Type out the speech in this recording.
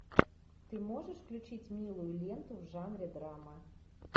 ты можешь включить милую ленту в жанре драма